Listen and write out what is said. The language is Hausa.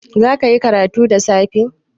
Zaka yi karatu da safe?